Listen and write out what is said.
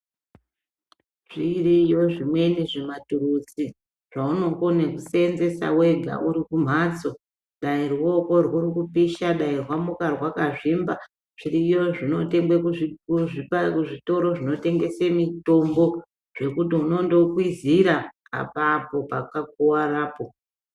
Zviriyo zvimweni zvimaturuzi zvaonokone kusenzesa wega uri kumhatso dai ruoko rwuri kupisha dai rwamuka rwakazvimba zviriyo zvinotengeswe kuzvitoro zvinotengeswe mitombo zvekuti unondokwizhira apapo paka kuwarapo.